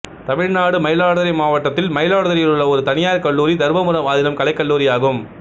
தமிழ்நாடு மயிலாடுதுறை மாவட்டத்தில் மயிலாடுதுறையில் உள்ள ஒரு தனியார் கல்லூரி தருமபுரம் ஆதினம் கலைக்கல்லூரி ஆகும்